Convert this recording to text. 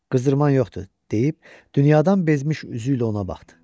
Qızdırman yoxdur, deyib dünyadan bezmiş üzü ilə ona baxdı.